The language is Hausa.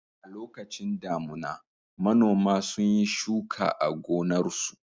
A lokacin damuna, manoma sun yi shuka a gonarsu.